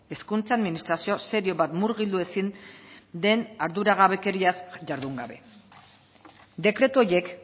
hezkuntza administrazio serio bat murgildu ezin den arduragabekeriaz jardun gabe dekretu horiek